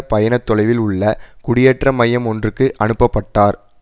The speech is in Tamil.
பயண தொலைவில் உள்ள குடியேற்ற மையம் ஒன்றுக்கு அனுப்ப பட்டார்